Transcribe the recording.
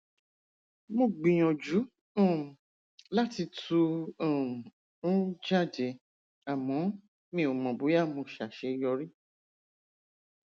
mo gbìyànjú um láti tú um u jáde àmọ mi ò mọ bóyá mo ṣàṣeyọrí